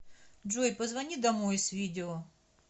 джой позвони домой с видео